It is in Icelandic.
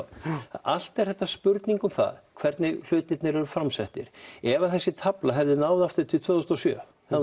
allt er þetta spurning um það hvernig hlutirnir eru framsettir ef þessi tafla hefði náð aftur til ársins tvö þúsund og sjö þá